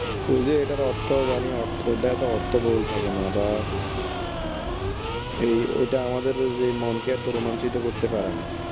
ওই যে অর্থ বাণী অর্থটা অর্থ বহুল থাকে না বা এই ওইটা আমাদের যে মনকে এত রোমাঞ্চিত করতে পারেনা